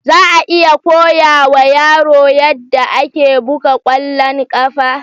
Za a iya koya wa yaro yadda ake buga ƙwallon ƙafa?